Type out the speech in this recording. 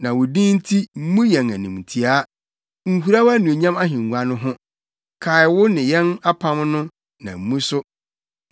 Na wo din nti mmu yɛn animtiaa; nhura wʼanuonyam ahengua no ho. Kae wo ne yɛn apam no na mmu so.